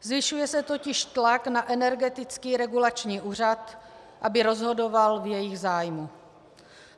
Zvyšuje se totiž tlak na Energetický regulační úřad, aby rozhodoval v jejich zájmu.